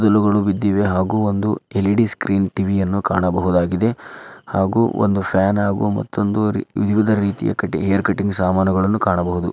ಕೂದಲಗಳು ಬಿದ್ದಿದೆ ಹಾಗು ಒಂದು ಎಲ್ಇಡಿ ಸ್ಕ್ರೀನ್ ಟಿವಿ ಯನ್ನು ಕಾಣಬಹುದಾಗಿದೆ. ಹಾಗೂ ಒಂದು ಫ್ಯಾನ್ ಹಾಗೂ ಮತ್ತೊಂದು ವಿವಿಧ ರೀತಿಯ ಕಟ್ ಹೇರ್ ಕಟಿಂಗ್ ಸಾಮಾನಗಳನ್ನು ಕಾಣಬಹುದು.